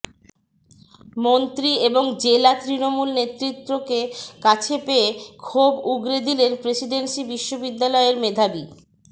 মন্ত্রী এবং জেলা তৃণমূল নেতৃত্বকে কাছে পেয়ে ক্ষোভ উগরে দিলেন প্রেসিডেন্সি বিশ্ববিদ্যালয়ের মেধাবী